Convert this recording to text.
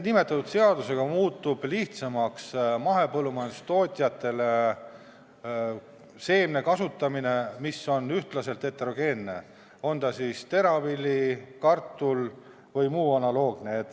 Nimetatud seadusega muutub mahepõllumajandustootjatel lihtsamaks sellise seemne kasutamine, mis on ühtlaselt heterogeenne, olgu see teravili, kartul või muu analoogne.